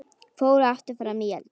Fór aftur fram í eldhús.